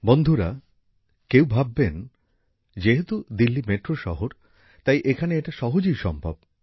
বন্ধুরা কেউ ভাববেন যেহেতু দিল্লি মেট্রো শহর তাই এখানে এটা সহজেই সম্ভব